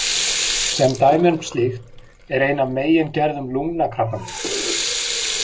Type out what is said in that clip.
Sem dæmi um slíkt er ein af megingerðum lungnakrabbameins.